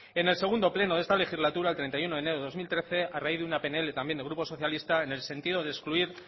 en el segundo pleno de esta legislatura el treinta y uno de enero del dos mil trece a raíz de una pnl también del grupo socialista en el sentido de excluir